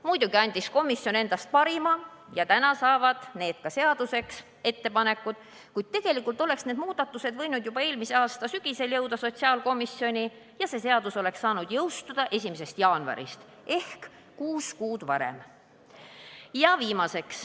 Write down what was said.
Muidugi andis komisjon endast parima ja täna saavad need ettepanekud ka seaduseks, kuid tegelikult oleks need muudatused võinud jõuda sotsiaalkomisjoni juba eelmise aasta sügisel ja see seadus oleks saanud jõustuda 1. jaanuarist ehk kuus kuud varem.